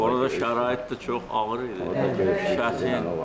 Orada şərait də çox ağır idi, çətin idi.